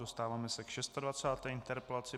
Dostáváme se k 26. interpelaci.